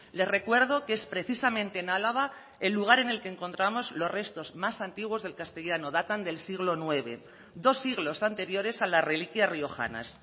les recuerdo que es precisamente en álava el lugar en el que encontramos los restos más antiguos del castellano datan del siglo noveno dos siglos anteriores a las reliquias riojanas